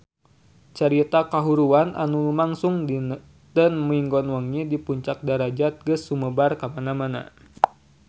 Carita kahuruan anu lumangsung dinten Minggon wengi di Puncak Darajat geus sumebar kamana-mana